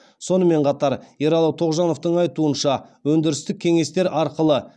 сонымен қатар ералы тоғжановтың айтуынша өндірістік кеңестер арқылы